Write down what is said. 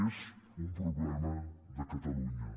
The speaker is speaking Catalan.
és un problema de catalunya